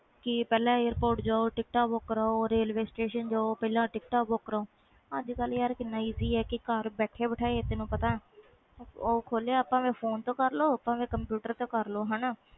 ਕਿ ਪਹਿਲੇ ਜਾਓ airport ਰੇਲਵੇ ਸਟੇਸ਼ਨ ਜਾਓ ਟਿਕਟਾਂ ਬੁੱਕ ਕਰਵਾਓ ਅੱਜ ਕੱਲ ਘਰ ਬੈਠੇ ਬੈਠਏ ਬੁੱਕ ਕਰਵਾ ਲੋ phone ਤੋਂ ਜਾ computer ਤੋਂ